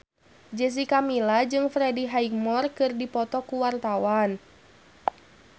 Jessica Milla jeung Freddie Highmore keur dipoto ku wartawan